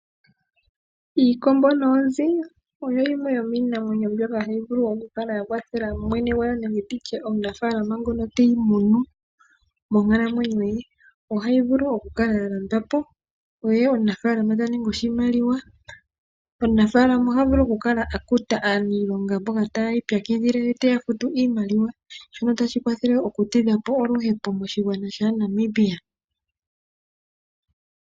Iikombo noonzi oyo yimwe yomiinamwenyo mboka hayi vulu okukala ya kwathela omunafaalama nenge mwene gwayo nenge tutye omunafaalama ngono te yimunu monkalamwenyo ye . Ohayi vulu okukala ya landwapo ye omunafaalama tamono oshimaliwa. Omunafaalama oha vulu okukala akuta omuniilonga ngoka ti ipyakidhile ye tafutu iimaliwa shoka tashi kwathele oku tidhapo oluhepo moshigwana shaaNamibia.